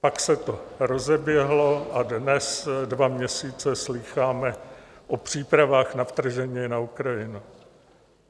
Pak se to rozeběhlo a dnes dva měsíce slýcháme o přípravách na vtržení na Ukrajinu.